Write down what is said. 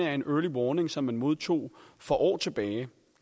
af en early warning som man modtog for år tilbage